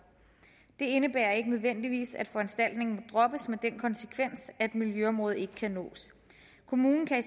det indebærer ikke nødvendigvis at foranstaltningen droppes med den konsekvens at miljøområdet ikke kan nås kommunen kan i